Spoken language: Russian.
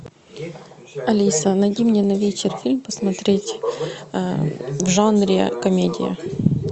алиса найди мне на вечер фильм посмотреть в жанре комедия